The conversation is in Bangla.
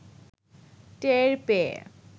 টের পেয়ে